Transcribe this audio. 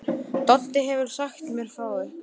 Doddi hefur sagt mér frá ykkur.